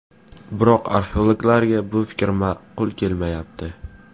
Biroq arxeologlarga bu fikr ma’qul kelmayapti.